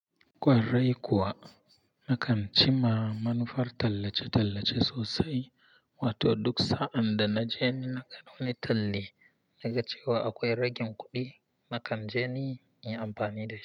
Kwarai kuwa, nakan cima manufar tallace-tallace sosai. Wato duk sa'ad da na je ni nakan wani talli, naga cewa akwai ragin kuɗi, nakan je ni in yi amfani da shi.